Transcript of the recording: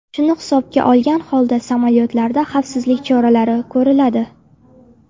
Shuni hisobga olgan holda samolyotlarda xavfsizlik choralari ko‘riladi.